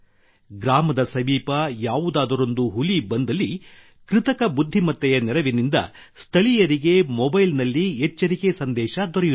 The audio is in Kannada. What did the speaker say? ಗ್ರಾಮದ ಸಮೀಪ ಯಾವುದಾದರೊಂದು ಹುಲಿ ಬಂದಲ್ಲಿ ಕೃತಕ ಬುದ್ಧಿಮತ್ತೆಯ ನೆರವಿನಿಂದ ಸ್ಥಳೀಯರಿಗೆ ಮೊಬೈಲ್ ನಲ್ಲಿ ಎಚ್ಚರಿಕೆ ಸಂದೇಶ ದೊರೆಯುತ್ತದೆ